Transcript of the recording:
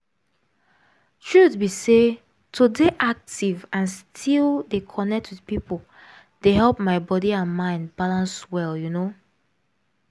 truth be say to dey active and still dey connect with people dey help my body and mind balance well you know